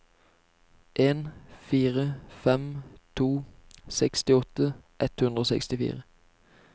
en fire fem to sekstiåtte ett hundre og sekstifire